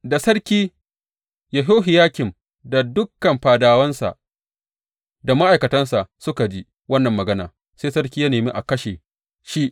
Da sarki Yehohiyakim da dukan fadawansa da ma’aikatansa suka ji wannan magana, sai sarki ya nemi a kashe shi.